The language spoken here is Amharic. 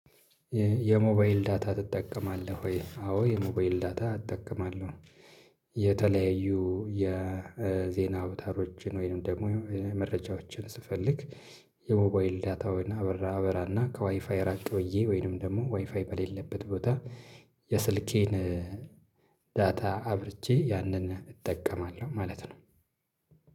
የሞባይል ዳታ ትጠቀማለህ ወይ? አዎ የሞባይል ዳታ እጠቀማለሁ። የተለያዩ የዜና አውታሮችን ወይንም ደግሞ መረጃዎችን ስፈልግ። የሞባይል ዳታውን አበራ አበራና ከዋይፋይ ራቅ ብዬ ወይንም ደግሞ ዋይፋይ በሌለበት ቦታ። የስልኬን ዳታ አብርቼ ያንን እጠቀማለሁ ማለት ነው።